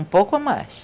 Um pouco a mais.